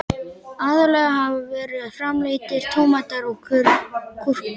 Aðallega hafa verið framleiddir tómatar og gúrkur.